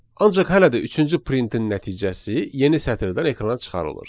Ancaq hələ də üçüncü printin nəticəsi yeni sətirdən ekrana çıxarılır.